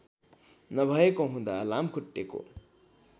नभएको हुँदा लामखुट्टेको